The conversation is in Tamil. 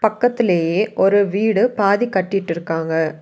பக்கத்திலேயே ஒரு வீடு பாதி கட்டிட்டு இருக்காங்க.